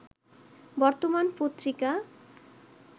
বর্তমান পত্রিকা